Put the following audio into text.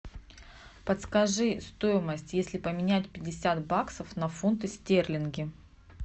подскажи стоимость если поменять пятьдесят баксов на фунты стерлинги